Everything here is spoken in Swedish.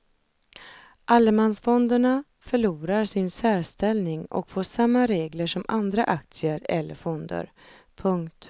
Allemansfonderna förlorar sin särställning och får samma regler som andra aktier eller fonder. punkt